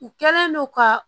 U kɛlen don ka